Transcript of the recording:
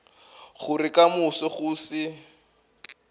gore ka moso go se